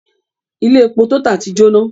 Ilé epo TOTAL ti jóná.